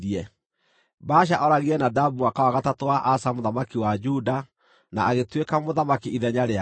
Baasha ooragire Nadabu mwaka wa gatatũ wa Asa mũthamaki wa Juda na agĩtuĩka mũthamaki ithenya rĩake.